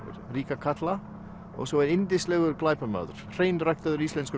ríka karla og svo er yndislegur glæpamaður hreinræktaður íslenskur